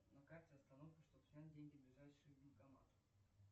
на карте остановка чтоб снять деньги ближайший банкомат